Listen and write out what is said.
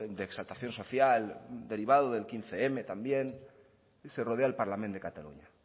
de exaltación social derivado del quince mil también se rodea el parlament de catalunya